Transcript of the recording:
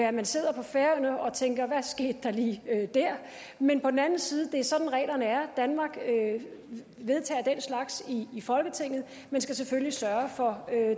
at man sidder på færøerne og tænker hvad skete der lige der men på den anden side er det sådan reglerne er danmark vedtager den slags i i folketinget men skal selvfølgelig sørge for